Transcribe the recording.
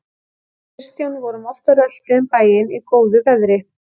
Við Kristján vorum oft á rölti um bæinn í góðu veðri.